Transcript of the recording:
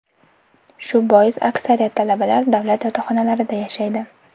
Shu bois aksariyat talabalar davlat yotoqxonalarida yashaydi.